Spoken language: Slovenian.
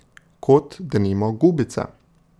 Kot, denimo, gubice.